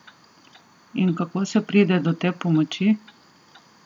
In kako se pride do te pomoči?